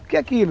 O que é aquilo?